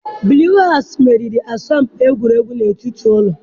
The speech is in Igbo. Bluu Haụsụụ meriri asọmpi egwuregwu n'etiti ụlọ